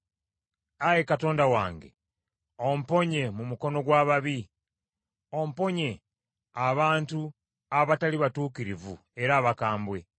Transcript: Ayi Katonda wange omponye mu mukono gw’ababi, omponye abantu abatali batuukirivu era abakambwe.